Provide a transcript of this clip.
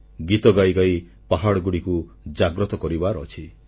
ଗୀତ ଗାଇଗାଇ ପାହାଡ଼ଗୁଡ଼ିକୁ ଜାଗ୍ରତ କରିବାର ଅଛି